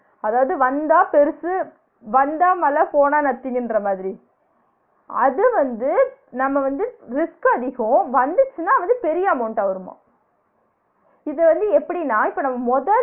அதாவது வந்தா பெருசு வந்தா மல போனா nothing ங்கற மாதிரி அது வந்து நம்ம வந்து risk அதிகோ வந்துச்னா வந்து பெரிய amount ஆ வருமா இது வந்து எப்டினா இப்ப நம்ம முத